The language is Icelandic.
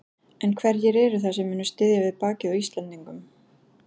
En hverjir eru það sem munu styðja við bakið á Íslendingum?